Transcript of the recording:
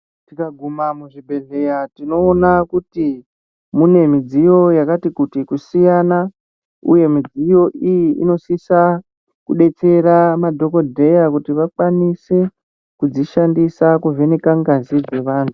Tika guma mu zvibhedhleya tino ona kuti mune midziyo yakati kuti ku siyana uye midziyo iyi ino sisa ku detsera madhokodheya kuti va kwanise kudzi shandisa ku vheneka ngazi dze vantu.